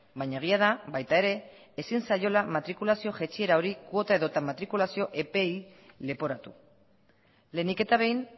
baina egia da baita ere ezin zaiola matrikulazio jaitsiera hori kuota edota matrikulazio epeei leporatu lehenik eta behin